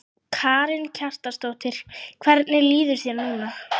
Karen Kjartansdóttir: Hvernig líður þér núna?